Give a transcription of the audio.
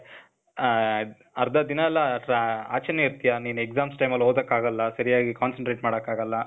ಆ, ಅರ್ಧ ದಿನ ಎಲ್ಲಾ , ಆಚೆನೇ ಇರ್ತಿಯ. ನೀನ್ exams time ಅಲ್ ಓದಕ್ ಆಗಲ್ಲ, ಸರಿಯಾಗಿ concentrate ಮಾಡಕ್ ಆಗಲ್ಲ.